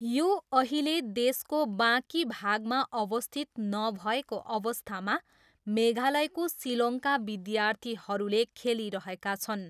यो अहिले देशको बाँकी भागमा अवस्थित नभएको अवस्थामा मेघालयको सिलोङका विद्यालयहरूले खेलिरहेका छन्।